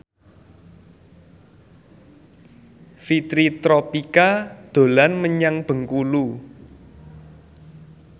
Fitri Tropika dolan menyang Bengkulu